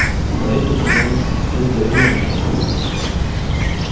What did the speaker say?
советую позвонить бедренцу